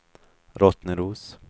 Rottneros